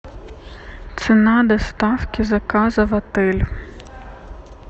цена доставки заказа в отель